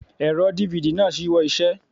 Ẹ̀rọ DVD náà ṣíwọ́ iṣẹ́.